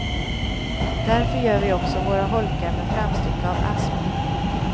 Därför gör vi också våra holkar med framstycke av asp.